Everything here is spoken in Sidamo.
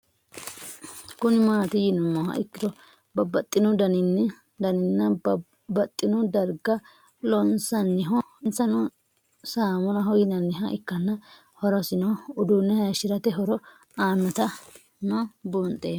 Kuni mati yinumoha ikiro babaxino daninina baxini dariga loonsaniho insino saamunaho yinaniha ikana hoorosino uddune hayishirate horo aanota no bunxemo